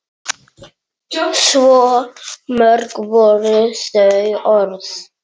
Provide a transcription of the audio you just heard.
Svo mörg voru þau orð!